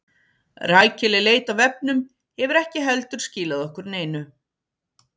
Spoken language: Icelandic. Rækileg leit á vefnum hefur ekki heldur skilað okkur neinu.